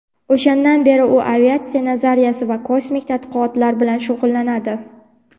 O‘shandan beri u aviatsiya nazariyasi va kosmik tadqiqotlar bilan shug‘ullanadi.